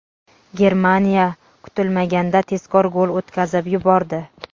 Germaniya kutilmaganda tezkor gol o‘tkazib yubordi!.